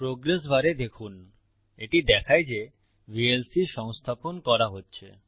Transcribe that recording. progress বারে দেখুন এটি দেখায় যে ভিএলসি সংস্থাপন করা হচ্ছে